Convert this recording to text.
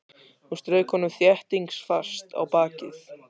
Hún strauk honum þéttingsfast á bakið.